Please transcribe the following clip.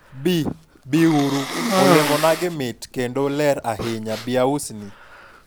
bi, bi uru, olemonagi mit kendo ler ahinya, bi ausni